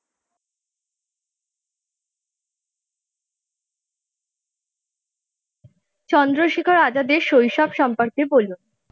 চন্দ্রশেখর আজাদের শৈশব সম্পর্কে বলুন?